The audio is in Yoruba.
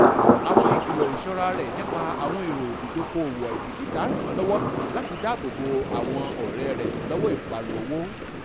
àwọn ìkìlò iṣọ́ra rẹ̀ nípa àwọn èrò ìdókò-owó àìbíkítà ràn lọwọ láti dáàbò bo àwọn ọ̀rẹ́ rẹ lọwọ ìparun owó